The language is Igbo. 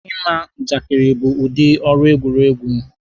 Ịma njakịrị bụ udi ọrụ egwuruegwu.